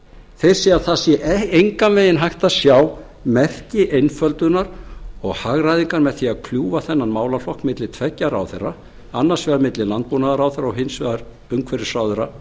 þeir segja að það sé engan veginn hægt að sjá merki einföldunar og hagræðingar með því að kljúfa þennan málaflokk milli tveggja ráðherra annars vegar milli landbúnaðarráðherra og hins vegar umhverfisráðherra